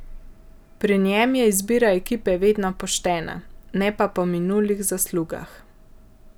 Pri njem je izbira ekipe vedno poštena, ne pa po minulih zaslugah.